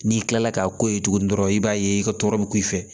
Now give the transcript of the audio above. N'i kilala k'a ko ye tuguni dɔrɔn i b'a ye i ka tɔɔrɔ bi ku i fɛ